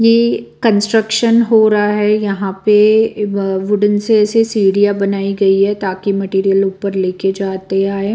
ये कंस्ट्रक्शन हो रहा है यहाँ पे वुडन से ऐसे सीढ़ियाँ बनाई गई हैं ताकि मटेरियल ऊपर लेकर जाते आएँ।